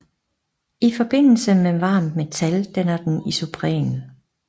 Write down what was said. I forbindelse med varmt metal danner den isopren